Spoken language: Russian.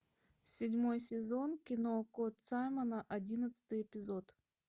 седьмой сезон кино кот саймона одиннадцатый эпизод